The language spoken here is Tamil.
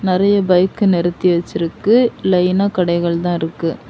நிறைய பைக் நிறுத்தி வெச்சிருக்கு லைனா கடைகள் தான் இருக்கு.